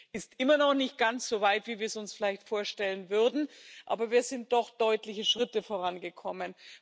Es ist immer noch nicht ganz so weit, wie wir es uns vielleicht vorstellen würden, aber wir sind doch deutliche Schritte vorangekommen.